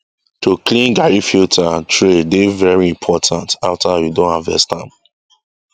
to clean garri filter and tray dey very important after we don harvest am